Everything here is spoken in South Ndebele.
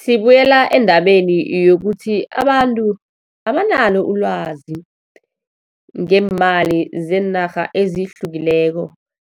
Sibuyela endabeni yokuthi abantu, abanalo ilwazi ngeemali zeenarha ezihlukileko.